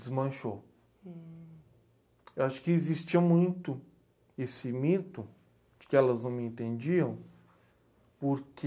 Desmanchou. Eu acho que existia muito esse mito, que elas não me entendiam, porque...